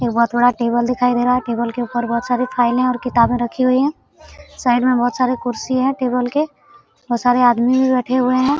एक बहुत बड़ा टेबल दिखाई देरा है टेबल के ऊपर बहुत सारी फाइले और किताबे रखी हुई है साइड में बहुत सारे कुर्सी है टेबल के बहुत सारे आदमी भी बैठे हुए हैं।